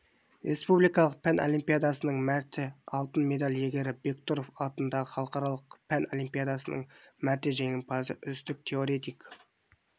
республикалық пән олимпиадасының мәрте алтын медаль иегері бектұров атындағы халықаралық пән олимпиадасының мәрте жеңімпазы үздік теоретик